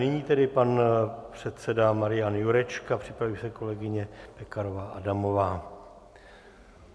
Nyní tedy pan předseda Marian Jurečka, připraví se kolegyně Pekarová Adamová.